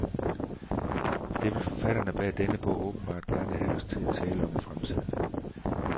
Det vil forfatterne bag denne bog åbenbart gerne have os til at tale om i fremtiden.